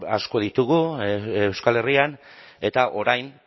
asko ditugu euskal herrian eta orain